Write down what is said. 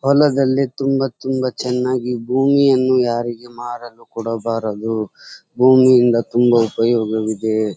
ಹೊಲದಲ್ಲಿ ತುಂಬಾ ತುಂಬಾ ಚೆನ್ನಾಗಿ ಭೂಮಿಯನ್ನು ಯಾರಿಗೂ ಮಾರಲು ಕೊಡಬಾರದು ಭೂಮಿಯಿಂದ ತುಂಬಾ ಉಪಯೋಗ ಇದೆ.